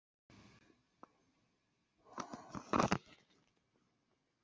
Silvía, áttu tyggjó?